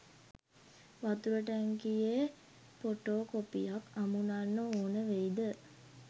වතුර ටැංකියෙ පොටෝ කොපියක් අමුනන්න ඕනවෙයිද?